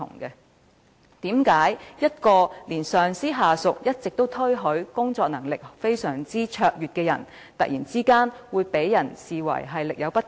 為何一直備受上司、下屬推許工作能力非常卓越的人員，會被突然視為力有不逮？